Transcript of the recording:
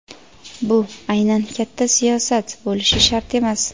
bu aynan katta siyosat bo‘lishi shart emas.